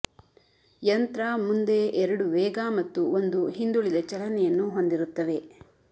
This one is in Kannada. ಯಂತ್ರ ಮುಂದೆ ಎರಡು ವೇಗ ಮತ್ತು ಒಂದು ಹಿಂದುಳಿದ ಚಲನೆಯನ್ನು ಹೊಂದಿರುತ್ತವೆ